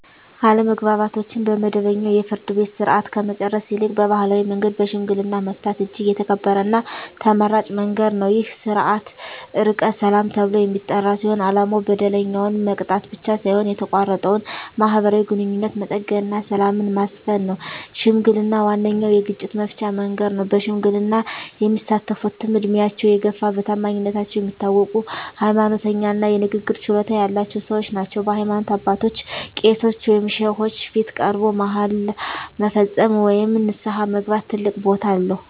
አለመግባባቶችን በመደበኛው የፍርድ ቤት ሥርዓት ከመጨረስ ይልቅ በባሕላዊ መንገድ በሽምግልና መፍታት እጅግ የተከበረና ተመራጭ መንገድ ነው። ይህ ሥርዓት "ዕርቀ ሰላም" ተብሎ የሚጠራ ሲሆን፣ ዓላማው በደለኛውን መቅጣት ብቻ ሳይሆን የተቋረጠውን ማኅበራዊ ግንኙነት መጠገንና ሰላምን ማስፈን ነው። ሽምግልና ዋነኛው የግጭት መፍቻ መንገድ ነው። በሽምግልና የሚሳተፍትም ዕድሜያቸው የገፋ፣ በታማኝነታቸው የሚታወቁ፣ ሃይማኖተኛ እና የንግግር ችሎታ ያላቸው ሰዎች ናቸው። በሃይማኖት አባቶች (ቄሶች ወይም ሼኮች) ፊት ቀርቦ መሃላ መፈጸም ወይም ንስሐ መግባት ትልቅ ቦታ አለው።